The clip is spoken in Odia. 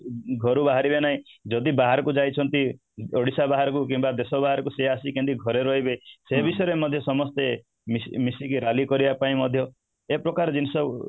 ଘରୁ ବାହାରିବେ ନାହିଁ ଯଦି ବାହାରକୁ ଯାଇଛନ୍ତି ଓଡିଶା ବାହାରକୁ କିମ୍ବା ଦେଶ ବାହାରକୁ ସିଏ ରହିବେ ସେ ବିଷୟରେ ମଧ୍ୟ ସମସ୍ତେ ମିଶି ମିଶିକି rally କରିବା ପାଇଁ ମଧ୍ୟ ଏପ୍ରକାର ଜିନିଷ